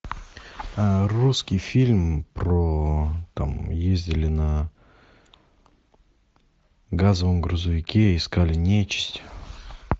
русский фильм про там ездили на газовом грузовике искали нечисть